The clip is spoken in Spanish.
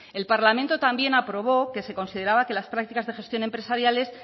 el parlamento también aprobó que se consideraba que las prácticas de gestión empresariales